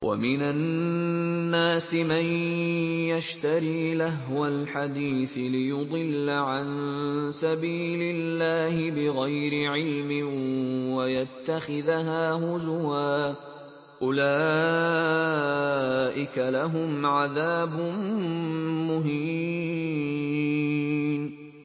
وَمِنَ النَّاسِ مَن يَشْتَرِي لَهْوَ الْحَدِيثِ لِيُضِلَّ عَن سَبِيلِ اللَّهِ بِغَيْرِ عِلْمٍ وَيَتَّخِذَهَا هُزُوًا ۚ أُولَٰئِكَ لَهُمْ عَذَابٌ مُّهِينٌ